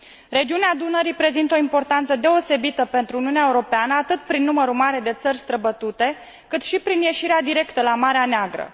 Regiunea Dunării prezintă o importanță deosebită pentru Uniunea Europeană, atât prin numărul mare de țări străbătute, cât și prin ieșirea directă la Marea Neagră.